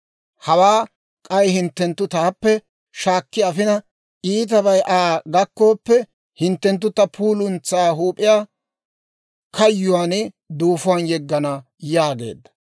Hawaa k'ay hinttenttu taappe shaakki afina, iitabay Aa gakkooppe, hinttenttu ta puuluntsaa huup'iyaa kayyuwaan duufuwaan yeggana› yaageedda.